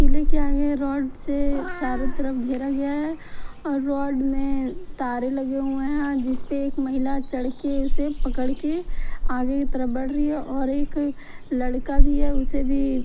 किले के आगे रॉड से चारों तरफ घेरा गया है और रॉड में तार लगे हुए हैं जिस पे एक महिला चढ़ के उसे पकड़ के आगे की तरफ बढ़ रही है और एक लड़का भी है उसे भी--